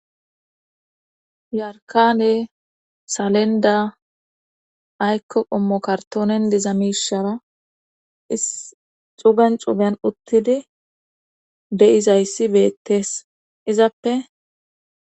Yarkane salenda aykko qommo kartoonen dizamishara is xuben cuben uttidi be7izayssi beettees izappe